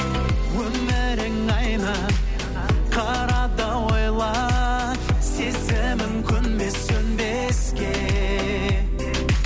өмірің айна қара да ойла сезімім көнбес сөнбеске